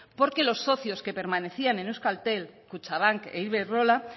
porque los socios que permanecían en euskaltel kutxabank e iberdrola